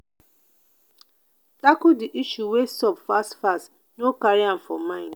tackle di issue wey sup fast fast no carry am for mind